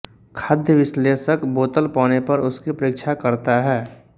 खाद्य विश्लेषक बोतल पाने पर उसकी परीक्षा करता है